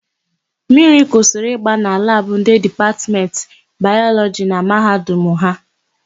Mmiri kwụsịrị ịgba na labụ ndị Dipatmentị Bayọlọjị na Mahadum ha.